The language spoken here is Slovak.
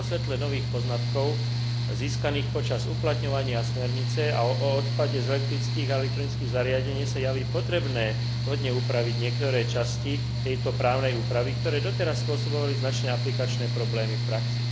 Vo svetle nových poznatkov získaných počas uplatňovania smernice o odpade s elektrických a elektronických zariadení sa javí potrebné vhodne upraviť niektoré časti tejto právnej úpravy, ktoré doteraz spôsobovali značné aplikačné problémy v praxi.